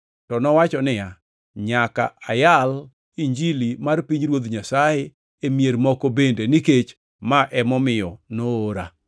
To nowacho niya, “Nyaka ayal Injilini mar pinyruoth Nyasaye e mier moko bende, nikech ma emomiyo noora.”